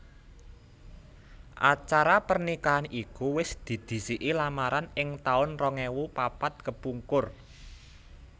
Acara pernikahan iku wis didhisiki lamaran ing taun rong ewu papat kepungkur